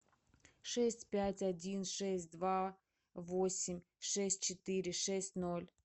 шесть пять один шесть два восемь шесть четыре шесть ноль